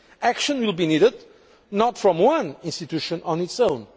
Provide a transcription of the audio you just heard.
Action will be needed not from one institution on its